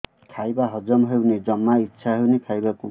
ଖାଇବା ହଜମ ହଉନି ଜମା ଇଛା ହଉନି ଖାଇବାକୁ